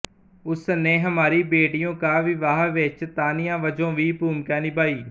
ਉਸ ਨੇ ਹਮਾਰੀ ਬੇਟੀਓ ਕਾ ਵਿਵਾਹ ਵਿੱਚ ਤਾਨੀਆ ਵਜੋਂ ਵੀ ਭੂਮਿਕਾ ਨਿਭਾਈ